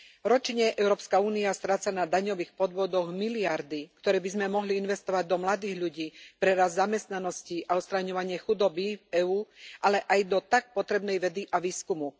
Ročne Európska únia stráca na daňových podvodoch miliardy, ktoré by sme mohli investovať do mladých ľudí, pre rast zamestnanosti a odstraňovanie chudoby v EÚ, ale aj do tak potrebnej vedy a výskumu.